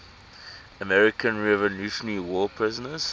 american revolutionary war prisoners